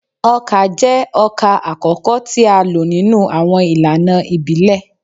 Oka jẹ ọkà akọkọ ti a lo ninu awọn ilana ibile